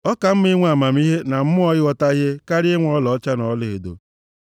Ọ ka mma inwe amamihe na mmụọ ịghọta ihe karịa inwe ọlaọcha na ọlaedo.